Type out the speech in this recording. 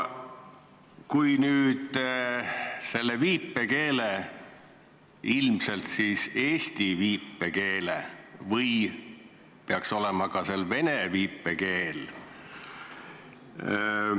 Kui viipekeele – ilmselt eesti viipekeele või peaks siin olema ka vene viipekeel?